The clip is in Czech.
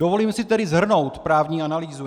Dovolím si tedy shrnout právní analýzu.